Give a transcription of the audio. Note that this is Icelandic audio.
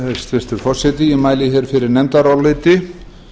hæstvirtur forseti ég mæli hér fyrir nefndaráliti